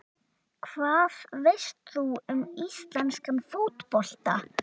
Hvað veist þú um íslenskan fótbolta?